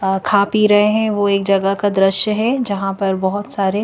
अ खा पी रहे हैं वो एक जगह का दृश्य है जहाँ पर बहोत सारे--